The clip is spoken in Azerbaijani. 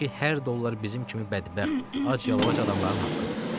burdakı hər dollar bizim kimi bədbəxt, ac yalavac adamların haqqıdır.